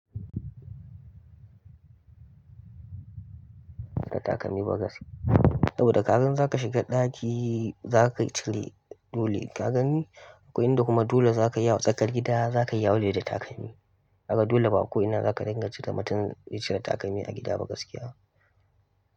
Da takalmi ba gaske. Da ka gan za ka shiga ɗaki, za ka cire dole ka gani. Ko inda kuma dole za ka yi a tsakar gida, za ka yi yawale da takalmi. Ka ga ba dole ko'ina za ka dinga ce da mutum ya cire takalmi a gida ba gaskiya.